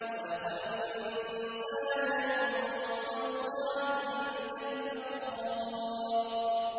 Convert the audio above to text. خَلَقَ الْإِنسَانَ مِن صَلْصَالٍ كَالْفَخَّارِ